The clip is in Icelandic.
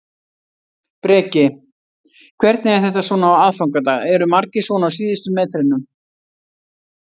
Breki: Hvernig er þetta svona á aðfangadag, eru margir svona á síðustu metrunum?